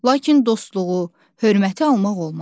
Lakin dostluğu, hörməti almaq olmaz.